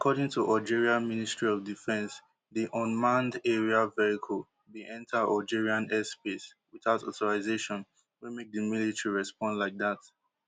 according to algeria ministry of defence di unmanned aerial vehicle bin enta algerian airspace without authorization wey make di military respond like dat